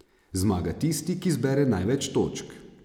Zmaga tisti, ki zbere največ točk.